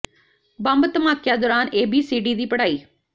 bomb ਧਮਾਕਿਆਂ ਦੌਰਾਨ A B C D ਦੀ ਪੜ੍ਹਾਈ